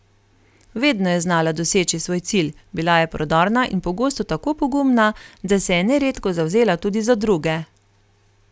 Vedno je znala doseči svoj cilj, bila je prodorna in pogosto tako pogumna, da se je neredko zavzela tudi za druge.